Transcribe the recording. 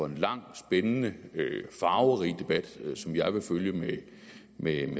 en lang spændende og farverig debat som jeg vil følge med